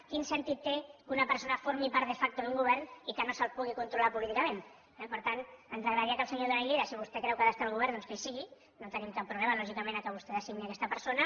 quin sentit té que una persona formi part de factogovern i que no se’l pugui controlar políticament per tant ens agradaria que el senyor duran i lleida si vostè creu que ha d’estar al govern doncs que hi sigui no tenim cap problema lògicament que vostè designi aquesta persona